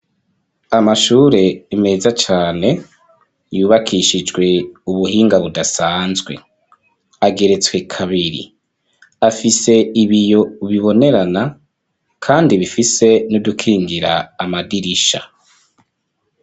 Amashure meza cane yubakishijwe ubuhinga budasanzwe ageretswe kabiri afise ibiyo bibonerana kandi bifise nidukingira amadirisha.